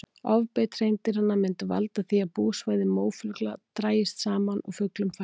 Ofbeit hreindýranna myndi valda því að búsvæði mófugla drægist saman og fuglum fækkaði.